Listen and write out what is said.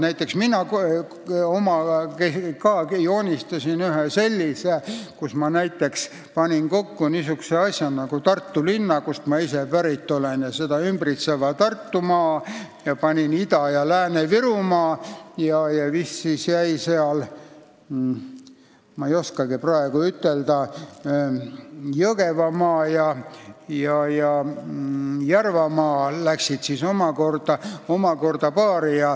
Näiteks mina joonistasin ka ühe sellise skeemi, kus ma panin kokku Tartu linna, kust ma ise pärit olen, ja seda ümbritseva Tartumaa, Ida-Virumaa ja Lääne-Virumaa ning vist Viljandimaa, Jõgevamaa ja Järvamaa läksid omakorda kokku.